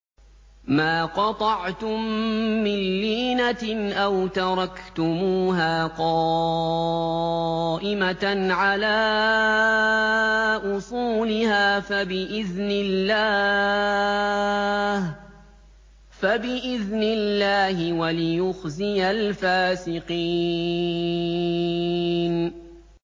مَا قَطَعْتُم مِّن لِّينَةٍ أَوْ تَرَكْتُمُوهَا قَائِمَةً عَلَىٰ أُصُولِهَا فَبِإِذْنِ اللَّهِ وَلِيُخْزِيَ الْفَاسِقِينَ